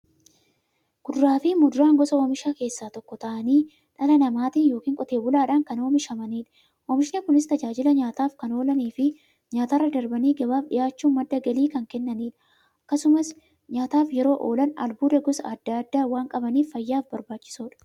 Kuduraafi muduraan gosa oomishaa keessaa tokko ta'anii, dhala namaatin yookiin Qotee bulaadhan kan oomishamaniidha. Oomishni Kunis, tajaajila nyaataf kan oolaniifi nyaatarra darbanii gabaaf dhiyaachuun madda galii kan kennaniidha. Akkasumas nyaataf yeroo oolan, albuuda gosa adda addaa waan qabaniif, fayyaaf barbaachisoodha.